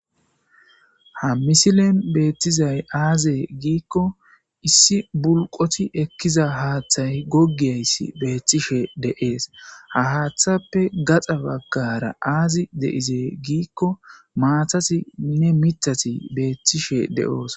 Ha misilen beettizay aaze giikko issi bulqoti ekkiza haaththay goggiyayssi beettishe de'es. Ha haaththappe gaxa baggara aazi de'ize giikko maatatinne miththati beettishe de'osona.